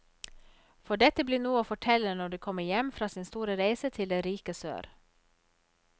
For dette blir noe å fortelle når de kommer hjem fra sin store reise til det rike sør.